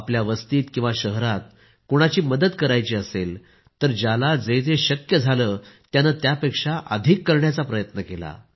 आपल्या वस्तीत किंवा शहरात कोणाची मदत करायची असेल तर ज्याला जे जे शक्य झाले त्याने त्यापेक्षा अधिक करण्याचा प्रयत्न केला